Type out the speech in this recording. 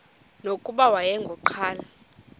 nokuba wayengu nqal